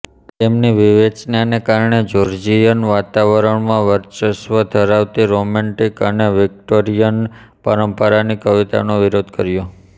તેમની વિવેચનાને કારણે જ્યૉર્જિયન વાતાવરણમાં વર્ચસ્વ ધરાવતી રોમૅન્ટિક અને વિક્ટૉરિયન પરંપરાની કવિતાનો વિરોધ કર્યો